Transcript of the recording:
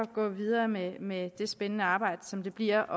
gå videre med med det spændende arbejde som det bliver